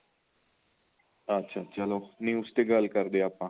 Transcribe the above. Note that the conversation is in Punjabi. ਅੱਛਾ ਚਲੋ news ਤੇ ਗੱਲ ਕਰਦੇ ਆ ਆਪਾਂ